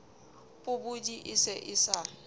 pobodi e se e sa